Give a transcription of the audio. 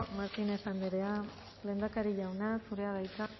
martínez andrea lehendakari jauna zurea da hitza